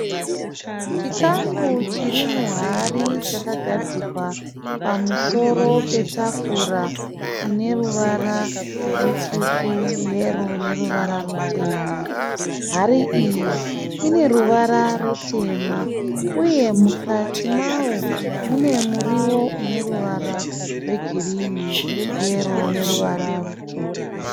Chikafu chiri muhari chakagadzikwa pamusoro petafura ine ruvara rutsvuku, yero ne ruvara rutema. Hari iyi ine ruvara rutema uye mukati mayo mune murio une ruvara rwe girini, yero neruvara rutsvuku.